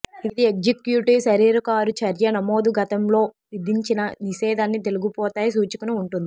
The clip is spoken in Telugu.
ఇది ఎగ్జిక్యూటివ్ శరీర కారు చర్య నమోదు గతంలో విధించిన నిషేధాన్ని తొలగిపోతాయి సూచికను ఉంటుంది